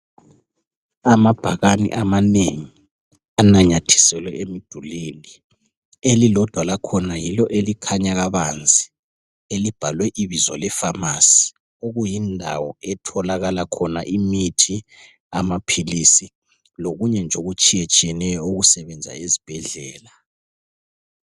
Amabhakane amanengi ananyathiselwe emidulwini. Elilodwa lakhona yilo elikhanya kabanzi, elibhalwe ibizo lefamasi, okuyindawo etholakala khona imithi, amaphilisi, lokunye nje okutshiyetshiyeneyo okusebenza ezbhedlela.